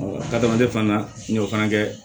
adamaden fana na n y'o fana kɛ